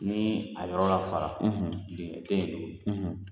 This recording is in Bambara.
Ni a yɔrɔ lafara , dingɛ tɛ yen.